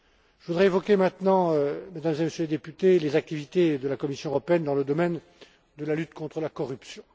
Je voudrais évoquer maintenant, Mesdames et Messieurs les députés, les activités de la Commission européenne dans le domaine de la lutte contre la corruption.